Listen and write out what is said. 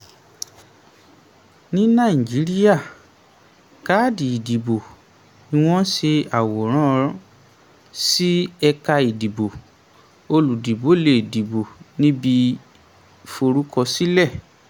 ní nàìjíríà káàdì ìdìbò ni wọ́n ṣe àwòrán sí ẹ̀ka ìdìbò olùdìbò lè dìbò níbi forúkọsílẹ̀.